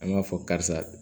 An b'a fɔ karisa